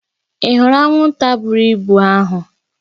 Ị hụrụ anwụnta buru ibu ahụ?